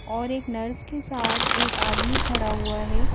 और एक नर्स के साथ एक आदमी खड़ा हुआ है।